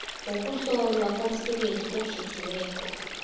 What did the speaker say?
wokuhlolwa komsebenzi okhethiweko